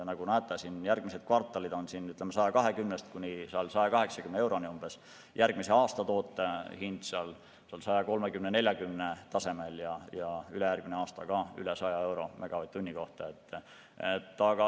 Nagu näete, järgmised kvartalid on, ütleme, 120–180 euro tasemel, järgmise aasta toote hind on 130–140 euro tasemel ja ülejärgmine aasta ka üle 100 euro megavatt-tunni kohta.